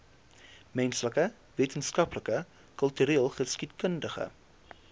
menslike wetenskappe kultureelgeskiedkundige